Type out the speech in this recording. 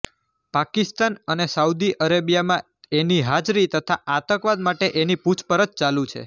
પાકિસ્તાન અને સાઉદી અરેબિયામાં એની હાજરી તથા આંતકવાદ માટે એની પુછપરછ ચાલુ છે